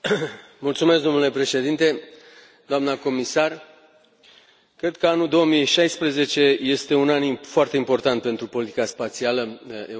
Domnule președinte, doamna comisar, cred că anul 2016 este un an foarte important pentru politica spațială europeană.